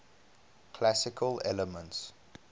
classical elements